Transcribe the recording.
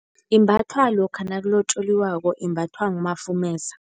Imbathwa lokha nakulotjoliwako imbathwa ngumafumeza.